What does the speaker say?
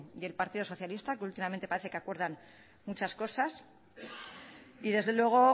y el partido socialista que últimamente parece que acuerdan muchas cosas y desde luego